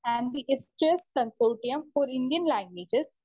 Speaker 1 and consortium for Indian languages .